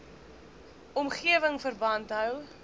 omgewing verband hou